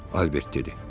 Albert dedi.